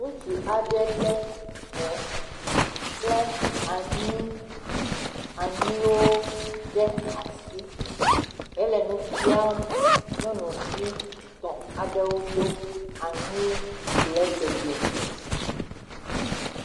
Ŋutsu aɖe lé hɛ kple anyii, anyiiwo ɖe asi, he le nu fiam nyɔnuvi etɔ aɖewo tso anyii gble dede ŋuti.